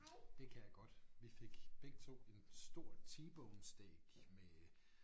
Det kan jeg godt vi fik begge 2 en stor t-bone steak med